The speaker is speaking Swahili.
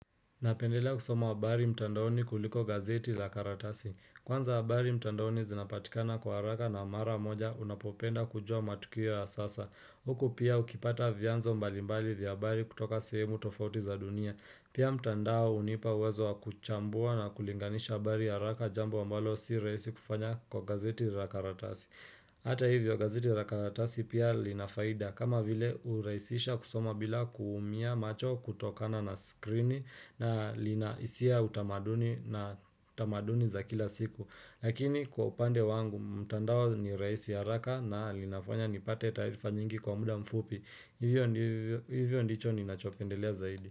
Napendelea kusoma habari mtandaoni kuliko gazeti la karatasi. Kwanza habari mtandaoni zinapatikana kwa haraka na mara moja unapopenda kujua matukio ya sasa. Huku pia ukipata vyanzo mbalimbali vya habari kutoka sehemu tofauti za dunia. Pia mtandao unipa uwezo wa kuchambua na kulinganisha habari haraka jambo ambalo si raisi kufanya kwa gazeti la karatasi. Hata hivyo gazeti la karatasi pia lina faida kama vile uraisisha kusoma bila kuumia macho kutokana na screen na linaisia utamaduni na tamaduni za kila siku Lakini kwa upande wangu mtandao ni raisi haraka na linafanya nipate taarifa nyingi kwa muda mfupi Hivyo ndicho ninachopendelea zaidi.